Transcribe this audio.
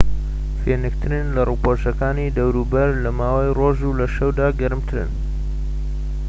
فێنکترن لە ڕووپۆشەکانی دەوروبەر لە ماوەی ڕۆژ و لە شەودا گەرمترن